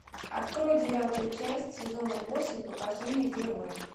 открой девятую часть сезона восемь покажи мне героя